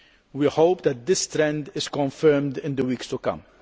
We hope that this trend is confirmed in the weeks to come.